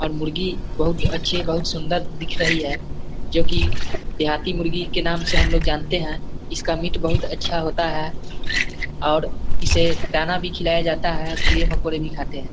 और मुर्गी बहुत अच्छे बहुत सुंदर दिख रही है जो कि देहाती मुर्गी के नाम से हमलोग जानते हैं इसका मीट बहुत अच्छा होता है और इसे दाना भी खिलाया जाता है और कीड़े मकोड़े भी खाते हैं।